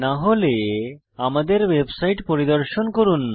না হলে আমাদের ওয়েবসাইট পরিদর্শন করুন